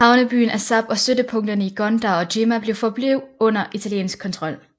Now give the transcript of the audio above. Havnebyen Assab og støttepunkterne i Gondar og Jimma forblev under italiensk kontrol